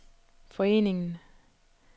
foreningen